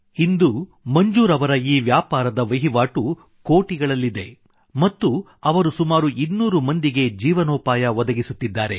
ಇಂದು ಮಂಜೂರ್ ಅವರ ಈ ವ್ಯಾಪಾರದ ವಹಿವಾಟು ಕೋಟಿಗಳಲ್ಲಿದೆ ಮತ್ತು ಅವರು ಸುಮಾರು ಇನ್ನೂರು ಮಂದಿಗೆ ಜೀವನೋಪಾಯ ಒದಗಿಸುತ್ತಿದ್ದಾರೆ